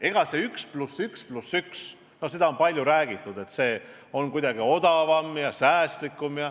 On palju räägitud, et see 1 + 1 + 1 on kuidagi odavam, säästlikum.